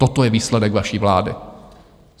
Toto je výsledek vaší vlády.